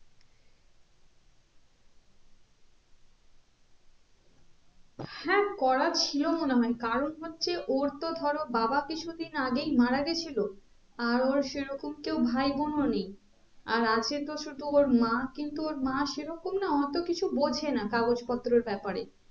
হ্যাঁ করা ছিল মনে হয়ে কারণ হচ্ছে ওর তো ধরো বাবা কিছু দিন আগেই মারা গেছিলো আর ওর সেরকম কেও ভাই বোন ও নেই আর আছে তো শুধু ওর মা কিন্তু ওর মা সেরকম না অতো কিছু বোঝে না কাগজ পত্রর ব্যাপারে